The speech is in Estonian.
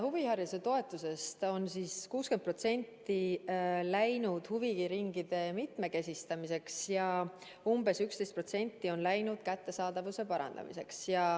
Huvihariduse toetusest 60% on läinud huviringide mitmekesistamiseks ja umbes 11% on läinud kättesaadavuse parandamiseks.